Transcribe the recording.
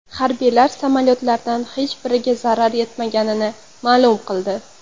Harbiylar samolyotlardan hech biriga zarar yetmaganini ma’lum qildi.